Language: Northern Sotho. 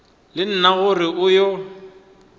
le nna gore o yo